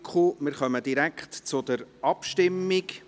Wir kommen direkt zur Abstimmung.